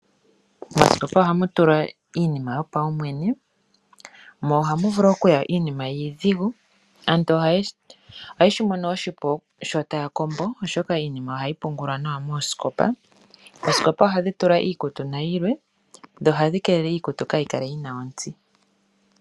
Mooskopa ohaku tulwa iinima yo paumwene mo ohamu vulu okuya iinima iidhigu. Aantu ohayeshi mono oshipu sho taya kombo oshoka iinima oya pungulwa nawa mooskopa. Ooskopa ohadhi tulwa iikutu nayilwe dho ohadhi kelele iikutu kaayikale yina ontsi.